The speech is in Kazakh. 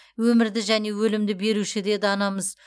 өмірді және өлімді беруші де данамыз